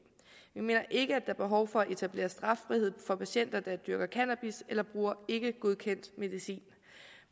mener ikke at er behov for at etablere straffrihed for patienter der dyrker cannabis eller bruger ikkegodkendt medicin